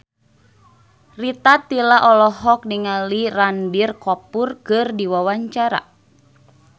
Rita Tila olohok ningali Ranbir Kapoor keur diwawancara